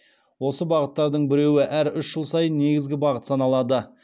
осы бағыттардың біреуі әр үш жыл сайын негізгі бағыт саналады